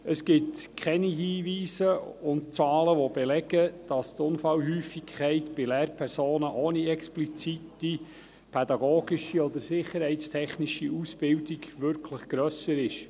Es gibt keine Hinweise und Zahlen, die belegen, dass die Unfallhäufigkeit bei Lehrpersonen ohne explizite pädagogische oder sicherheitstechnische Ausbildung wirklich höher ist.